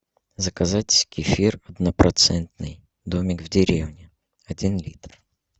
заказать кефир однопроцентный домик в деревне один литр